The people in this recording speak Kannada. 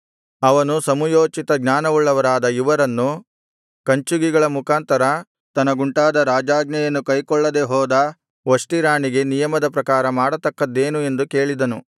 ಅವನು ಸಮುಯೋಚಿತ ಜ್ಞಾನವುಳ್ಳವರಾದ ಇವರನ್ನು ಕಂಚುಕಿಗಳ ಮುಖಾಂತರ ತನಗುಂಟಾದ ರಾಜಾಜ್ಞೆಯನ್ನು ಕೈಗೊಳ್ಳದೆ ಹೋದ ವಷ್ಟಿ ರಾಣಿಗೆ ನಿಯಮದ ಪ್ರಕಾರ ಮಾಡತಕ್ಕದ್ದೇನು ಎಂದು ಕೇಳಿದನು